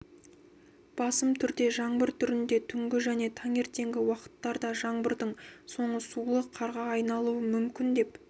басым түрде жаңбыр түрінде түнгі және таңертеңгі уақыттарда жаңбырдың соңы сулы қарға айналуы мүмкін деп